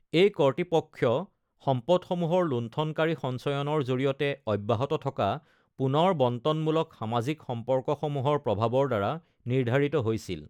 এই কৰ্তৃপক্ষ সম্পদসমূহৰ লুণ্ঠণকাৰী সঞ্চয়নৰ জৰিয়তে অব্যাহত থকা পুনৰ বণ্টনমূলক সামাজিক সম্পৰ্কসমূহৰ প্ৰভাৱৰ দ্বাৰা নিৰ্ধাৰিত হৈছিল।